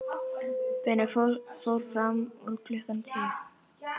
Finnur fór fram úr klukkan tíu.